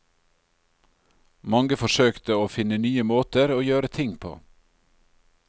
Mange forsøkte å finne nye måter å gjøre ting på.